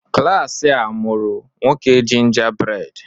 Klas a mụọrọ 'Nwoke Gingerbread'